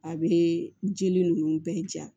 A bɛ jeli ninnu bɛɛ ja